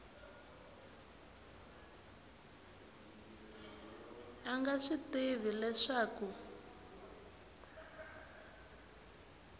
a nga swi tivi leswaku